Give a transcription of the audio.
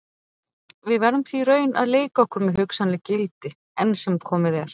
Við verðum því í raun að leika okkur með hugsanleg gildi, enn sem komið er.